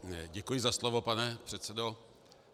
Děkuji za slovo, pane předsedo.